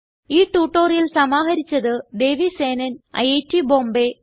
ഈ ട്യൂട്ടോറിയൽ സമാഹരിച്ചത് ദേവി സേനൻ ഐറ്റ് ബോംബേ